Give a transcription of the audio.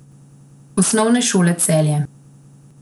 Osnovne šole Celje.